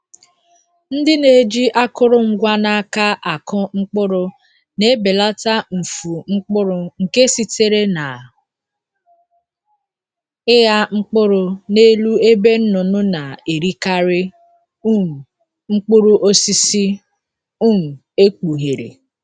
Ndị na-eji akụrụngwa n’aka akụ mkpụrụ na-ebelata mfu mkpụrụ nke sitere na ịgha mkpụrụ n'elu ebe nnụnụ na-erikarị um mkpụrụ osisi um ekpughere.